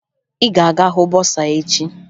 Ị ga-aga hụ bọsaa echi!